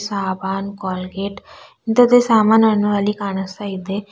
ಸಾಬಾನ್ Colgate ಇಂತದೆ ಸಾಮನನ್ನು ಅಲ್ಲಿ ಕಾಣಸ್ತಾ ಇದ್ದೆ.